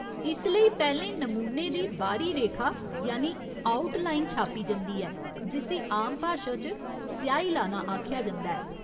इस लेई पैह्‌लें नमूने दी बाह्‌री रेखा यानि आउट लाइन छापी जंदी ऐ, जिस्सी आम भाशा च स्याही लाना आखेआ जंदा ऐ।